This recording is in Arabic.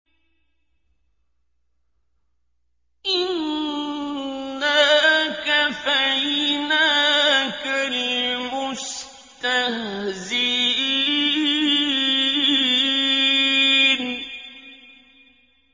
إِنَّا كَفَيْنَاكَ الْمُسْتَهْزِئِينَ